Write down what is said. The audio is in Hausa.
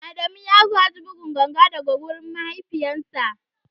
Adamu ya gaji buga ganga daga wurin mahaifinsa.